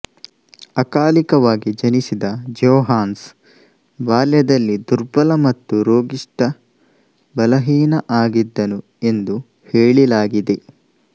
ಅಕಾಲಿಕವಾಗಿ ಜನಿಸಿದ ಜೋಹಾನ್ಸ್ ಬಾಲ್ಯದಲ್ಲಿ ದುರ್ಬಲ ಮತ್ತು ರೋಗಿಷ್ಠ ಬಲಹೀನ ಆಗಿದ್ದನು ಎಂದು ಹೇಳಿಲಾಗಿದೆ